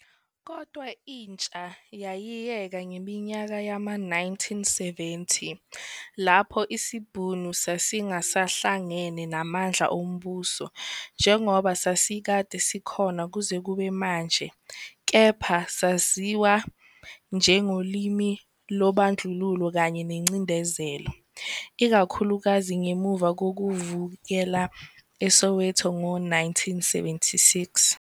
Kodwa intsha yayiyeka ngeminyaka yama-1970, lapho isiBhunu sasingasahlangene namandla ombuso, njengoba sasikade sikhona kuze kube manje, kepha saziwa njengolimi lobandlululo kanye nengcindezelo, ikakhulukazi ngemuva kokuvukela eSoweto ngo-1976.